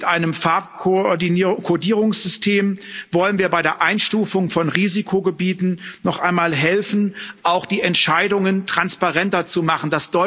Mit einem Farbkodierungssystem wollen wir bei der Einstufung von Risikogebieten noch einmal helfen, auch die Entscheidungen transparenter zu machen.